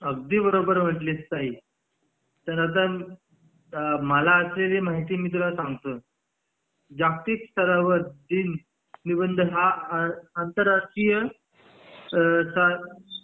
अगदी बरोबर म्हणलीस ताई तर आता मला माहितीये ते मी तुला सांगतो जागतिक स्तरावर दिन हा आंतरराष्ट्रीय